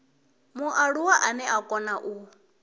mualuwa ane a kona u